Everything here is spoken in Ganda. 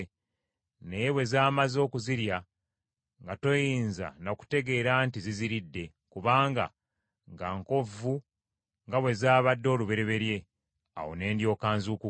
naye bwe zamaze okuzirya nga toyinza na kutegeera nti ziziridde, kubanga nga nkovvu nga bwe zaabadde olubereberye. Awo ne ndyoka nzuukuka.